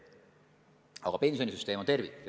Aga pensionisüsteem on tervik.